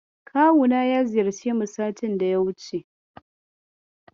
Kawuna ya ziyarce mu satin daya wuce.